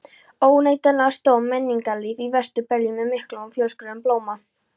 Óneitanlega stóð menningarlíf í Vestur-Berlín með miklum og fjölskrúðugum blóma.